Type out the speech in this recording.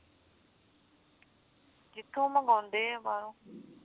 ਜਿੱਥੋਂ ਮੰਗਆਉਂਦੇ ਓ ਬਾਹਰੋਂ